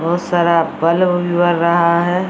बहुत सारा बल्ब उल भी बड़ रहा है ।